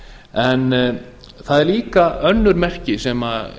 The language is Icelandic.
en það eru líka önnur merki sem